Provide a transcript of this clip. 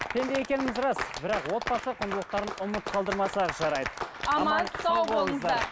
пенде екеніміз рас бірақ отбасы құндылықтарын ұмыт қалдырмасақ жарайды аман сау болыңыздар